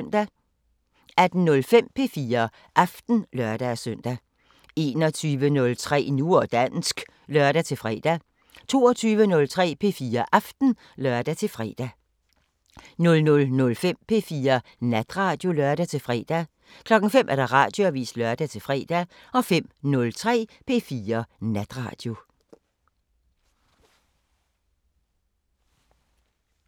18:05: P4 Aften (lør-søn) 21:03: Nu og dansk (lør-fre) 22:03: P4 Aften (lør-fre) 00:05: P4 Natradio (lør-fre) 05:00: Radioavisen (lør-fre) 05:03: P4 Natradio